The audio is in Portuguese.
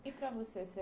E para você ser...